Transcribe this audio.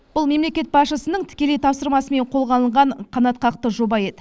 бұл мемлекет басшысының тікелей тапсырмасымен қолға алынған қанатқақты жоба еді